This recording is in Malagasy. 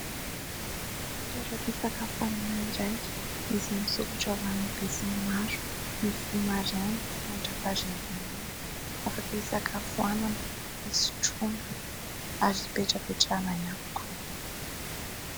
Toeram-pisakafoanana iray izay misokatra ho an'ny be sy ny maro. Mivoha maraina mandrapaharivan'ny andro. Afaka hisakafoanana, hisotroana ary hipetrapetrahana ihany koa.